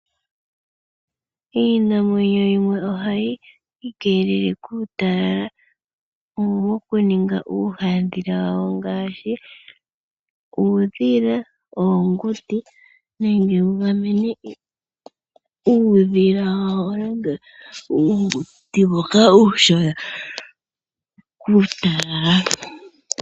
Iinamwenyo yimwe ohayi ikeelele kuutalala moku ninga uuhadhila wawo ngaashi uudhila, oonguti nenge wugamene uudhila wawo nenge uunguti mboka uushona kuutalala.